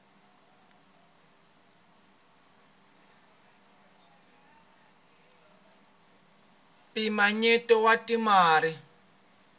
mpimanyeto wa swa timali